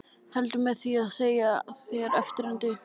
Heldur með því að segja þér eftirfarandi